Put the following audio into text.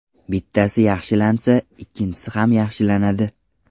Bittasi yaxshilansa, ikkinchisi ham yaxshilanadi.